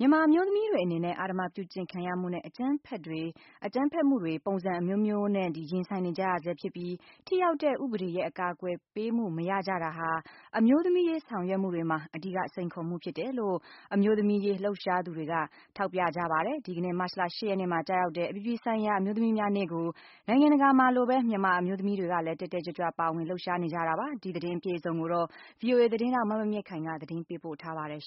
မြန်မာအမျိုးသမီးတွေအနေနဲ့ အဓမ္မပြုကျင့်ခံရမှုနဲ့ အကြမ်းဖက်တွေ ပုံစံအမျိုးမျိုးနဲ့ ရင်ဆိုင်နေကြရဆဲ ဖြစ်ပြီး ထိရောက်တဲ့ ဥပဒေရဲ့ အကာကွယ်ပေးမှု မရတာကြဟာ အမျိုးသမီးရေးဆောင်ရွက်မှုတွေမှာ အဓိကစိန်ခေါ်မှုဖြစ်တယ်လို့ အမျိုးသမီးအရေး လှုပ်ရှားသူတွေက ထောက်ပြကြပါတယ်။ ဒီကနေ့ မတ်လ ၈ရက်နေ့မှာ ကျရောက်တဲ့ အပြည်ပြည်ဆိုင်ရာ အမျိုး သမီးများနေ့ကို နိုင်ငံတကာမှာလိုပဲ မြန်မာအမျိုးသမီးတွေလည်း တက်တက်ကြွကြွ ပါဝင် လှုပ်ရှားနေကြတာပါ။ ဒီ သတင်းအပြည့်အစုံကိုတော့ ဗွီအိုအေ သတင်းထောက် မမြင့်မြင့်ခိုင်က တင်ပြပေးပါမယ်။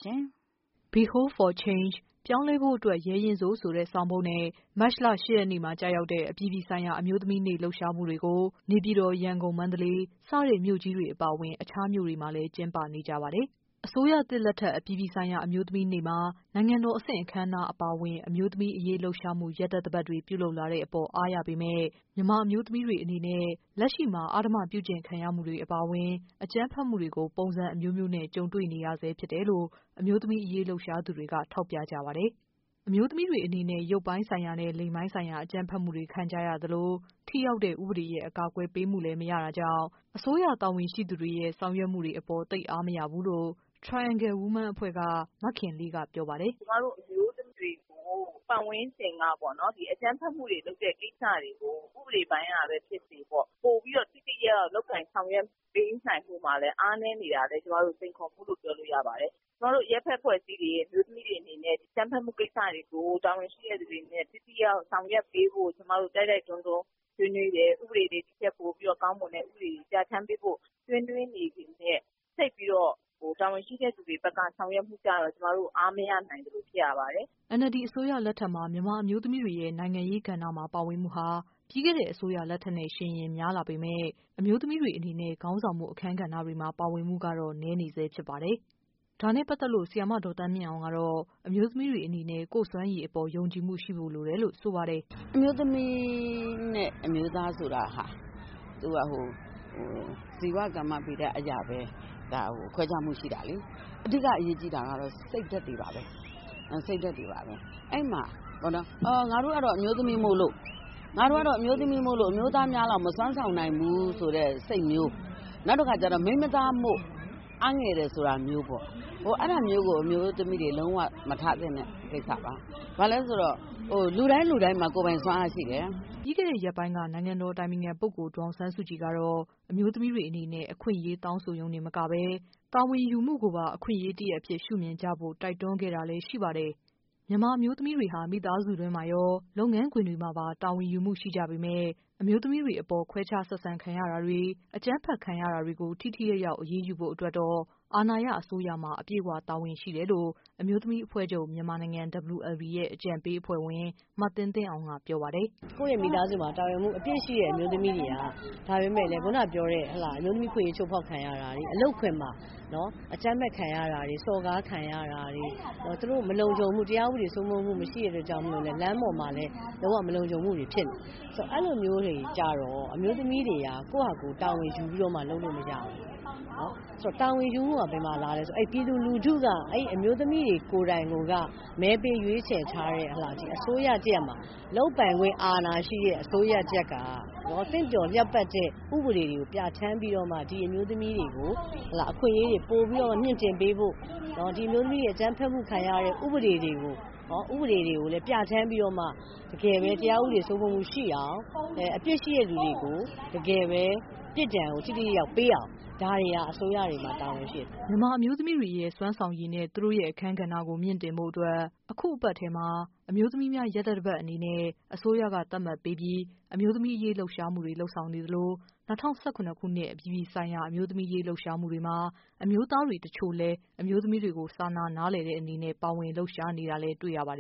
"Be bold for Change- ပြောင်းလဲဖို့အတွက် ရဲရင့်စို့" ဆိုတဲ့ ဆောင်ပုဒ်နဲ့ မတ်လ ၈ရက်နေ့မှာ ကျ ရောက်တဲ့ အပြည်ပြည်ဆိုင်ရာ အမျိုးသမီးများနေ့ လှုပ်ရှားမှုတွေကို နေပြည်တော်၊ရန်ကုန်၊ မန္တလေးစတဲ့ မြို့ကြီး တွေအပါအဝင် အခြားမြို့တွေမှာလည်း ကျင်းပကြပါတယ်။ အစိုးရသစ်လက်ထက် အပြည်ပြည်ဆိုင်ရာ အမျိုးသမီးနေ့မှာ နိုင်ငံတော်အဆင့် အခမ်းအနားတွေ အပါ အဝင် အမျိုးသမီးအရေး လှုပ်ရှားမှု ရက်သတ္တပတ်တွေ ပြုလုပ်လာတဲ့အပေါ် အားရပေမယ့် မြန်မာ အမျိုးသမီး တွေအနေနဲ့ လက်ရှိမှာ အဓမ္မပြုကျင့်ခံရမှုအပါအဝင် အကြမ်းဖက်မှုတွေကို ပုံစံအမျိုးမျိုးနဲ့ ကြုံတွေ့နေကြရဆဲ ဖြစ်တယ်လို့ အမျိုးသမီးအရေး လှုပ်ရှားသူတွေက ထောက်ပြကြပါတယ်။ အမျိုးသမီးတွေအနေနဲ့ ရုပ်ပိုင်းဆိုင်ရာနဲ့ လိင်ပိုင်းဆိုင်ရာ အကြမ်းဖက်မှုတွေ ခံကြရသလို ထိရောက်တဲ့ ဥပဒေရဲ့ အကာအကွယ်ပေးမှုလည်း မရတာကြောင့် အစိုးရတာဝန်ရှိသူတွေရဲ့ ဆောင်ရွက်မှုတွေအပေါ် အားမ ရတာမျိုးတွေလည်းရှိတယ်လို့ Triangle Women အဖွဲ့က မခင်လေးက ပြောပါတယ်။ “ကျမတို့ အမျိုးသမီးတွေကို ပတ်ဝန်းကျင်ကနေပြီးတော့ အကြမ်းဖက်မှုတွေလုပ်တဲ့ကိစ္စတွေကို ဥပဒေပိုင်းကပဲဖြစ်စေပေါ့ ပိုပြီးတော့ ထိထိရောက်ရောက်ဆောင်ရွက်ပေးနိုင်မှုမှာလည်း အားနည်းနေတာလည်း စိန်ခေါ်မှုလို့ ပြောလို့ရပါတယ်။ ကျမတို့အရပ်ဘက်အဖွဲ့အစည်းတွေ အမျိုးသမီးတွေအပေါ် အကြမ်းဖက်မူကိစ္စတွေကို တာဝန်ရှိတဲ့သူတွေက ထိထိရောက်ရောက်ဆောင်ရွက်ပေးဖို့ကို ကျမတို့ တိုက်တိုက်တွန်းတွန်းဆွေးနွေးတယ်။ ကျမတို့ ဥပဒေတွေ ဒီထက်ပိုကောင်းတဲ့ ဥပဒေတွေပြဌာန်းပေးဖို့ ဆွေးနွေးနေပေမယ့် သိပ်ပြီးတော့ တာဝန်ရှိတဲ့သူတွေဘက်က ဆောင်ရွက်ပေးတာ ကျမတို့ အားမရနိုင်သလိုဖြစ်ရပါတယ်။” NLD အစိုးရလက်ထက်မှာ မြန်မာအမျိုးသမီးတွေရဲ့ နိုင်ငံရေးကဏ္ဍမှာ ပါဝင်မှုဟာ ပြီးခဲ့တဲ့ အစိုးရလက် ထက်ကနဲ့ ယှဉ်ရင် များလာပေမယ့် အမျိုးသမီးတွေအနေနဲ့ ခေါင်းဆောင်မှု အခန်းကဏ္ဍတွေမှာ ပါဝင်မှုကတော့ နည်းနေဆဲ ဖြစ်ပါတယ်။ ဒါနဲ့ ပတ်သက်လို့ ဆရာမ ဒေါ်သန်းမြင့်အောင်ကတော့ အမျိုးသမီးတွေအနေနဲ့ ကိုယ့် စွမ်းရည်အပေါ် ယုံကြည်မှုရှိဖို့လိုတယ်လို့ ဆိုပါတယ်။ “အမျိုးသမီးနဲ့ အမျိုးသားဆိုတာဟာ သူက ဇီဝဗေဒအရပဲ ၊ ခွဲခြားမှုရှိတာလေ။ အဓိကအရေးကြီးတာကတော့ စိတ်ဓါတ်တွေပါပဲ၊ အဲဒီမှာ ငါတို့ကတော့ အမျိုးသမီးဖြစ်လို့ အမျိုးသားများလောက် မစွမ်းဆောင်နိုင်ဘူးဆိုတဲ့စိတ်မျိုး၊ နောက်တခါကျတော့ မိန်းမသားမို့ အားငယ်တယ်ဆိုတာမျိုးပေါ့ အဲဒါမျိုးတွေ အမျိုးသမီးတွေလုံးဝမထားသင့်တဲ့ ကိစ္စပါ၊ ဘာဖြစ်လို့လဲဆိုတော့ လူတိုင်းလူတိုင်းမှာ ကိုယ်ပိုင်စွမ်းအားရှိတယ်။” ပြီးခဲ့တဲ့ ရက်ပိုင်းမှာ နိုင်ငံတော် အတိုင်ပင်ခံပုဂ္ဂိုလ် ဒေါ်အောင်ဆန်းစုကြည်ကတော့ အမျိုးသမီးတွေ အ နေနဲ့ အခွင့်အရေးတောင်းဆိုရုံတင်မကဘဲ တာဝန်ယူမှုကိုပါ အခွင့်အရေးတရပ်အဖြစ်ရှုမြင်ကြဖို့ တိုက်တွန်းခဲ့ တာလည်းရှိပါတယ်။ မြန်မာအမျိုးသမီးတွေဟာ မိသားစုတွင်းမှာရော၊ လုပ်ငန်းခွင်တွေမှာပါ တာဝန်ယူမှုရှိကြပေမယ့် အမျိုး သမီးတွေအပေါ် ခွဲခြား ဆက်ဆံခံရတာတွေ၊ အကြမ်းဖက်ခံရတာတွေကို ထိထိရောက်ရောက် အရေးယူဖို့ အတွက်တော့ အာဏာရ အစိုးရမှာ တာဝန်အပြည့်ရှိတယ်လို့ အမျိုးသမီးအဖွဲ့ချုပ်- မြန်မာနိုင်ငံ ရဲ့ အကြံပေးအဖွဲ့ဝင် မသင်းသင်းအောင်က ပြောပါတယ်။ “ကိုယ့်မိသားစုမှာ တာဝန်ယူမှုအပြည့်ရှိတဲ့ အမျိုးသမီးတွေဟာ ဒါပေမယ့် အမျိုးသမီးအခွင့်အရေး ချိုးဖောက်ခံရတာတွေ၊ အလုပ်ခွင်မှာ အကြမ်းဖက်ခံရတာတွေ ၊ စော်ကားခံရတာတွေ၊ သူတို့မလုံခြုံမှု တရားဥပဒေစိုးမိုးမှု မရှိတဲ့အတွက်ကြောင့်လည်း လမ်းပေါ်မှာလည်း မလုံခြုံမှုတွေဖြစ်နေတယ်။ ဆိုတော့ အဲလိုမျိုးတွေကျတော့ အမျိုးသမီးတွေက ကိုယ့်ဟာကို တာဝန်ယူပြီးတော့လုပ်လို့မရဘူး။ ဆိုတော့ တာဝန်ယူမှုက ဘယ်ကလာသလဲဆိုတော့ ပြည်သူလူထုက အမျိုးသမီးတွေကိုယ်တိုင်က မဲပေးရွေးချယ်ထားတဲ့ အစိုးရတရပ်မှာ လုပ်ပိုင်ခွင့်အာဏာရှိတဲ့ အစိုးရတရပ်က သင့်တော်တဲ့ ဥပဒေတွေကိုပြဌာန်းပြီးတော့မှ ဒီအမျိုးသမီးတွေကို အခွင့်အရေးပိုပြီးတော့ မြှင့်တင်ပေးဖို့ ၊ဒီအမျိုးသမီးတွေ အကြမ်းဖက်မှုခံရတဲ့ ဥပဒေတွေကိုလည်း ပြဌာန်းပေးပြီးတော့မှ တရားဥပဒေစိုးမိုးမှုရှိအောင် တကယ်အပြစ်ရှိတဲ့လူတွေကို ပြစ်ဒဏ်ကို ထိထိရောက်ရောက်ပေးအောင် ဒါတွေက အစိုးရတွေမှာ တာဝန်ရှိပါတယ်။” အမျိုးသမီးတွေရဲ့ စွမ်းဆောင်ရည်နဲ့ သူတို့ရဲ့ အခန်းကဏ္ဍကို မြှင့်တင်ဖို့အတွက် အခုသီတင်းပတ်ထဲမှာ အမျိုးသမီးများ ရက်သတ္တပတ်အနေနဲ့ အစိုးရက သတ်မှတ်ပြီး အမျိုးသမီးအရေး လှုပ်ရှားမှုတွေ လုပ်ဆောင်နေသလို ၂၀၁၇ အပြည်ပြည်ဆိုင်ရာ အမျိုးသမီးနေ့ လှုပ်ရှားမှုတွေမှာ အမျိုးသားတချို့လည်း အမျိုးသမီးတွေကို စာနာ နားလည်တဲ့အနေနဲ့ ပါဝင်လှုပ်ရှားကြတာလည်း တွေ့ရပါတယ်